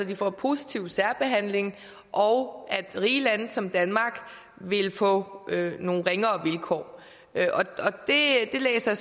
vil få positiv særbehandling og at rige lande som danmark vil få nogle ringere vilkår det læser